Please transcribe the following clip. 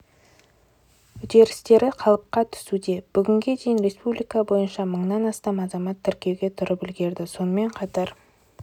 үдерістері қалыпқа түсуде бүгінге дейін республика бойынша мыңнан астам азамат тіркеуге тұрып үлгерді сонымен қатар